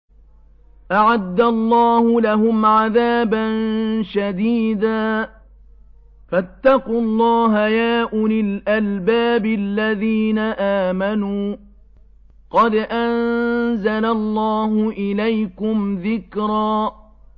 أَعَدَّ اللَّهُ لَهُمْ عَذَابًا شَدِيدًا ۖ فَاتَّقُوا اللَّهَ يَا أُولِي الْأَلْبَابِ الَّذِينَ آمَنُوا ۚ قَدْ أَنزَلَ اللَّهُ إِلَيْكُمْ ذِكْرًا